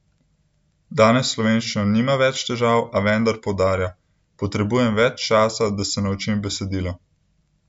Danes s slovenščino nima več težav, a vendar poudarja: 'Potrebujem več časa, da se naučim besedilo.